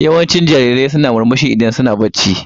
Yawancin jarirai suna murmushi idan suna barci.